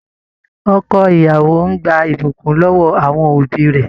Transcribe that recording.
Ọkọ ìyàwó n gbà ibukún lọwọ àwọn òbí rẹ.